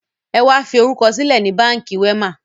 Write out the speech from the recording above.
Ẹ wá fi orúkọ sílẹ̀ ni Báńkì Wema!